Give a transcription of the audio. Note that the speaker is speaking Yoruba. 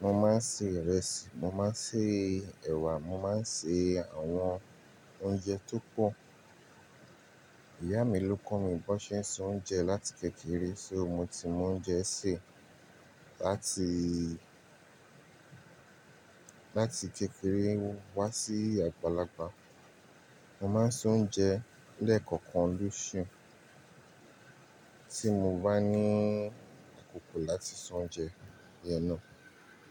Mo máa ń se ìrẹsì, mo máa ń se ẹ̀wà, mo máa ń se àwọn oúnjẹ tó pọ̀. Ìyá mi ló kọ̀ mí bó ṣe ń se oúnjẹ láti kékeré, só mo ti mọ oúnjẹ sè láti, láti kékeré wá sí àgbàlagbà. Mo máa ń ṣe oúnjẹ lẹ́ẹ̀kọ̀kan lósù, tí mo bá ní àkókò láti se oúnjẹ náà.